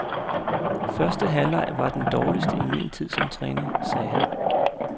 Første halvleg var den dårligste i min tid som træner, sagde han.